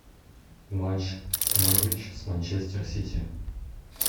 матч норвич с манчестер сити